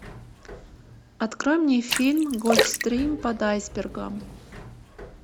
открой мне фильм гольфстрим под айсбергом